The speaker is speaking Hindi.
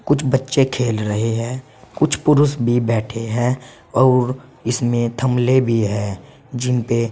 कुछ बच्चे खेल रहे हैं कुछ पुरुष भी बैठे हैं और इसमें थमले भी है जिनपे--